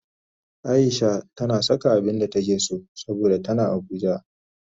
Aisha tana saka abinda take so saboda tana abuja